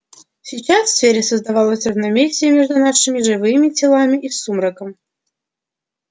сейчас в сфере создавалось равновесие между нашими живыми телами и сумраком